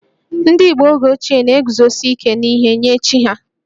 Ndị Igbo oge ochie na-eguzosi ike n'ihe nye chi ha